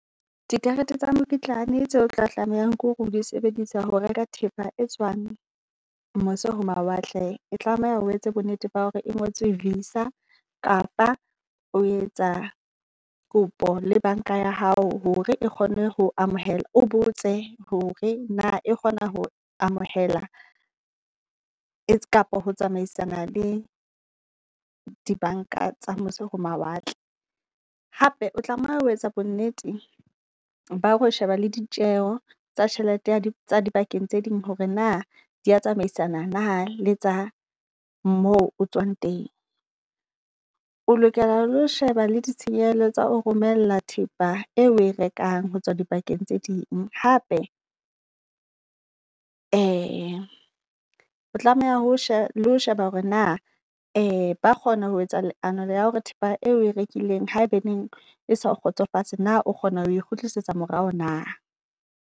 Dikarete tsa mokitlane tse otla tlamehang ke hore o di sebedise ho reka thepa e tswang mose ho mawatle, e tlameha o etse bo nnete ba hore e ngotswe VISA. Kapa o etsa kopo le banka ya hao hore e kgone ho amohela, o botse hore na kgona ho amohela kapa ho tsamaisana le dibanka tsa mose ho mawatle. Hape o tlameha ho etsa bonnete ba ho sheba le ditjeho tsa tjhelete ha di tsa dibakeng tse ding hore na dia tsamaisana na le tsa moo o tswang teng. O lokela lo sheba le ditshenyehelo tsa o romella thepa e rekang hotswa dibakeng tse ding. Hape o tlameha ho sheba le ho sheba hore na ba kgona ho etsa leano la hore thepa eo oe rekileng ha ebaneng e sao kgotsofatse na o kgona ho kgutlisetsa morao na.